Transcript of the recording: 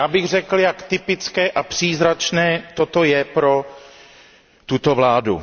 Já bych řekl, jak typické a příznačné to je pro tuto vládu.